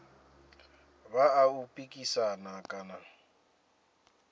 vha a u pikisana kana